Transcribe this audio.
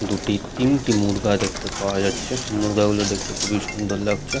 দুটি তিনটি মুর্গা দেখতে পাওয়া যাচ্ছেমুর্গা গুলো দেখতে খুবই সুন্দর লাগছে।